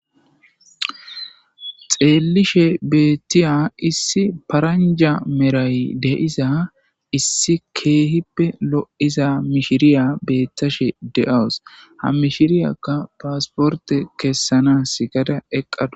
Xeelishe beetiya issi paranja medhay de'iza issi keehipe lo'iza mishiriya beetashe de'awus ha mishiriyaka pasporte kesanasi gada eqadus.